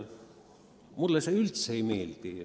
Mulle see üldse ei meeldi.